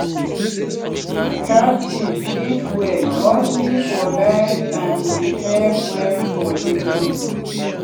catfish eat well mostly for night and behave well for evening